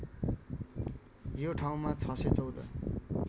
यो ठाउँमा ६१४